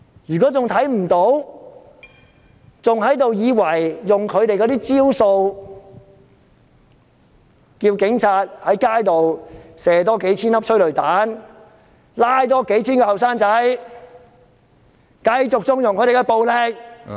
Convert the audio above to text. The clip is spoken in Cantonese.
如果仍然看不到，還以為用他們的招數，叫警察在街上多發射數千枚催淚彈、多拘捕數千名年青人，繼續縱容警察的暴力......